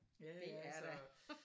Det er da